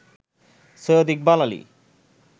Syed Iqbal Ali